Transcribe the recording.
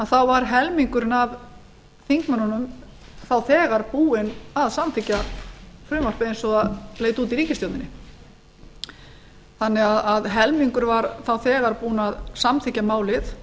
þá var helmingurinn af þingmönnunum þá þegar búinn að samþykkja frumvarpið eins og það leit út í ríkisstjórninniþannig að helmingurinn var þá þegar búinn að samþykkja málið